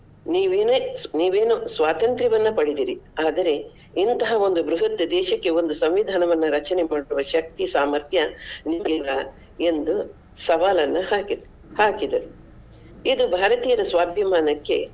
ನೀವು ಏನೇ ನೀವ್ ಏನು ಸ್ವಾತಂತ್ರ್ಯವನ್ನ ಪಡೆದಿರಿ ಆದರೆ ಇಂತಹ ಒಂದು ಬೃಹತ್ ದೇಶಕ್ಕೆ ಒಂದು ಸಂವಿಧಾನವನ್ನ ರಚನೆ ಮಾಡುವ ಶಕ್ತಿ ಸಾಮರ್ಥ್ಯ ನಿಮ್ಗಿಲ್ಲಾ ಎಂದು ಸವಾಲನ್ನು ಹಾಕಿದ್ರು ಹಾಕಿದರು. ಇದು ಭಾರತೀಯರ ಸ್ವಾಭಿಮಾನಕ್ಕೆ.